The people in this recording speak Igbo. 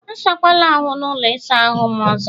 Asakwala ahụ n' ụlọ ịsa ahụ m ọzọ!